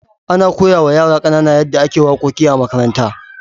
Ana koya wa yara kanana yadda ake wakoki a makaranta.